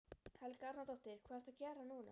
Helga Arnardóttir: Hvað ertu að gera núna?